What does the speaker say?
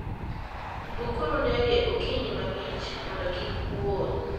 Bukuru ndege okinyi mang'ich mondo kik uol.